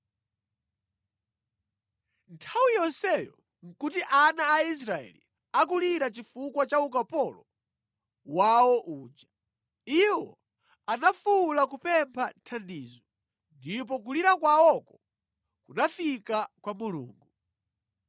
Nthawi yonseyo nʼkuti ana a Israeli akulira chifukwa cha ukapolo wawo uja. Iwo anafuwula kupempha thandizo, ndipo kulira kwawoko kunafika kwa Mulungu.